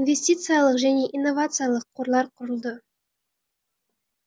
инвестициялық және инновациялық қорлар құрылды